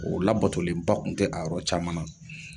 O la batolenba kun tɛ a yɔrɔ caman na.